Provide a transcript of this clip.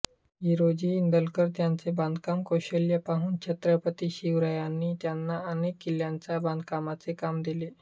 हिरोजी इंदलकर यांचे बांधकाम कौशल्य पाहून छत्रपती शिवरायांनी त्यांना अनेक किल्ल्यांच्या बांधकामाचे काम दिले